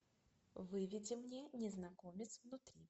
выведи мне незнакомец внутри